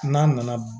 N'a nana